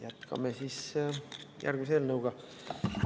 Jätkame järgmise eelnõuga.